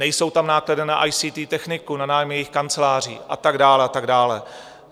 Nejsou tam náklady na ICT techniku, na nájmy jejich kanceláří a tak dále a tak dále.